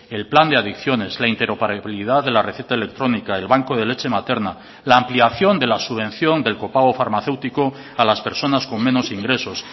el plan de adicciones la interoperabilidad de la receta electrónica el banco de leche materna la ampliación de la subvención del copago farmacéutico a las personas con menos ingresos